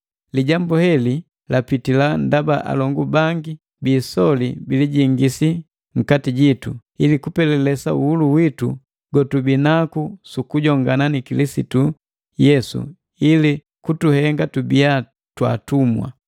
Lijambu heli lapitila ndaba alongu bangi biisoli bilijingisi nkati jitu, ili kupelelesa uhulu witu gotubinaku sukujongana na Kilisitu Yesu ili kutuhenga tubiya twaatumwa.